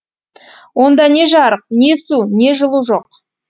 онда не жарық не су не жылу жоқ